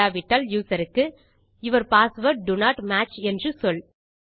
இல்லாவிட்டால் யூசர் க்கு your passwords do not match என்று சொல்